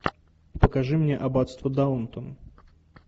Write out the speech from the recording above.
покажи мне аббатство даунтон